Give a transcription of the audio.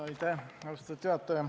Austatud juhataja!